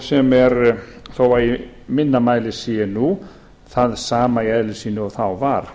sem er þó í minna mæli sé nú það sama í eðli sínu og þá var